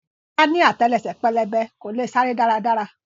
Bọ́lá ni àtẹlẹsẹ̀ pẹlẹbẹ, kò leè sáré dára dára.